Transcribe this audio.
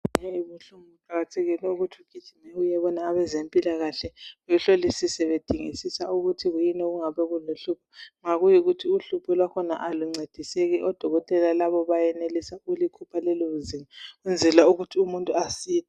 Nxa amazinyo ebuhlungu kuqakathekile ukuthi ugijime uyebona abezempilakahle behlolisise bedingisisa ukuthi kuyini okungabe kuluhlupho. Ma kuyikuthi uhlupho Lolo aluncediseki odokotela bayenelisa ukulikhipha lelozinyo ukwenzela ukuthi umuntu asile.